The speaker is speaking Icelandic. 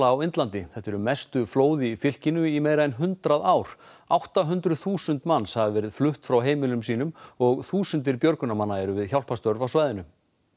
á Indlandi þetta eru mestu flóð í fylkinu í meira en hundrað ár átta hundruð þúsund manns hafa verið flutt frá heimilum sínum og þúsundir björgunarmanna eru við hjálparstörf á svæðinu